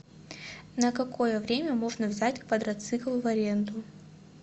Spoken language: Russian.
на какое время можно взять квадроцикл в аренду